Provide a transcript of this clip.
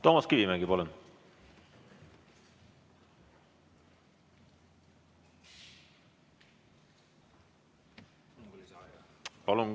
Toomas Kivimägi, palun!